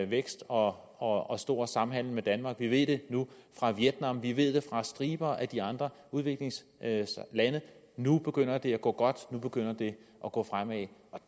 vækst og og stor samhandel med danmark vi ved det fra vietnam og vi ved det fra striber af de andre udviklingslande nu begynder det at gå godt nu begynder det at gå fremad